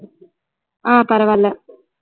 ஆஹ் பரவாயில்ல